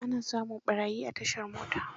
Ana samun ɓarayi a tashar mota.